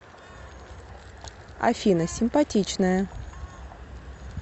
афина симпатичная